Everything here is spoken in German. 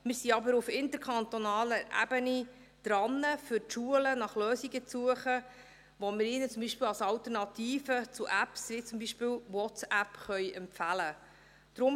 Wir sind aber auf interkantonaler Ebene dran, für die Schulen nach Lösungen zu suchen, um ihnen zum Beispiel Alternativen zu Apps wie WhatsApp empfehlen zu können.